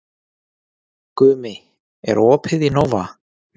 Gumi, er opið í Nova?